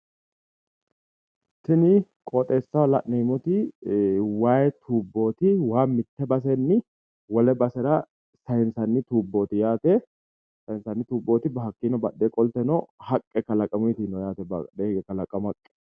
tini qooxxeesaho la'nemooti waayi tuuboti waa mite bassenni wole basera saaysanni tuuboti yate hakkinni badhee qolteno kalaqamu haqqe noo yate.